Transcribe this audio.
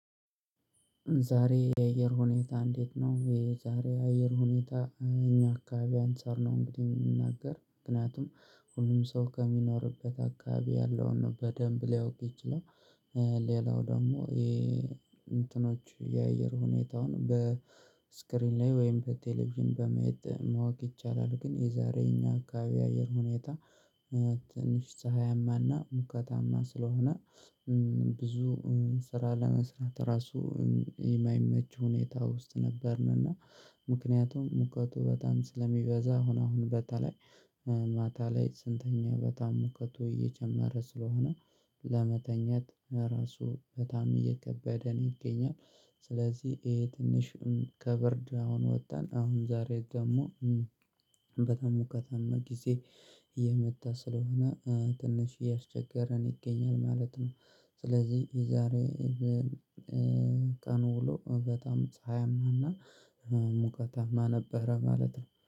ዛሬ የአየር ሁኔታ እንዴት ነው? የዛሬ የአየር ሁኔታ እኛ አካባቢ አንፃር ነው እንግዲህ የምንናገር ምክንያቱም ሁሉም ሰው ከሚኖርበት አካባቢ ያለውን ነው በደንብ ሊያውቅ ይችላል። ሌላው ደግሞ የእንትኖች የአየር ሁኔታውን በስክሪን ላይ ወይም በቴሌቪዥን በማየት ማወቅ ይቻላል። ግን የዛሬ እኛ አካባቢ አየር ሁኔታ። ትንሽ ፀሀያማና ሙቀታማ ስለሆነ ብዙ ስራ ለመስራት ራሱ የማይመች ሁኔታ ውስጥ ነበርን። እና ምክንያቱም ሙቀቱ በጣም ስለሚበዛ አሁን አሁን በተለይ ማታ ላይ ስንተኛ በጣም ሙቀቱ እየጨመረ ስለሆነ ለመተኛት ራሱ በጣም እየከበደን ይገኛል። ስለዚህ ይሄ ትንሽም ከበርድ አሁን ወተን አሁን ዛሬ ደግሞ በጣም ሙቀታማ ጊዜ እየመጣ ስለሆነ ትንሽ እያስቸገረን ይገኛል ማለት ነው። ስለዚህ የዛሬ ቀኑ ውሎ በጣም ፀሀይማና ሙቀታማ ነበረ ማለት ነው